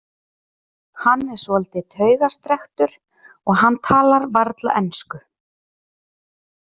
Hann er svolítið taugastrekktur og hann talar varla ensku.